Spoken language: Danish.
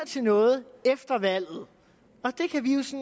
til noget efter valget